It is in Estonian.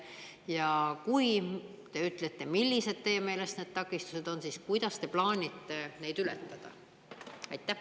Ja kui te ütlete, millised teie meelest need takistused on, siis kuidas te plaanite neid ületada?